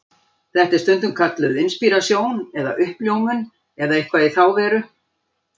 Þetta er stundum kallað inspírasjón eða uppljómun eða eitthvað í þá veru.